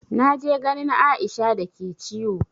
Na je ganin Aisha da ke ciwo.